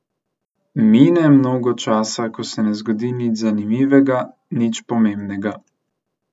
Mine mnogo časa, ko se ne zgodi nič zanimivega, nič pomembnega.